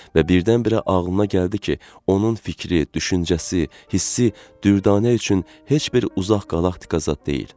Və birdən-birə ağlına gəldi ki, onun fikri, düşüncəsi, hissi, dürdanə üçün heç bir uzaq qalaktika zad deyil.